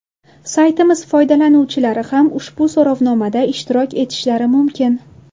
Saytimiz foydalanuvchilari ham ushbu so‘rovnomada ishtirok etishlari mumkin.